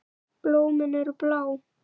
Blómin eru blá.